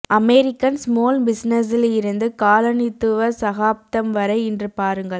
American small பிசினஸில் இருந்து காலனித்துவ சகாப்தம் வரை இன்று பாருங்கள்